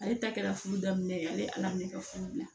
Ale ta kɛra furu daminɛ ye ale ye ala minɛ ka furu diyan